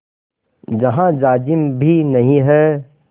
जहाँ जाजिम भी नहीं है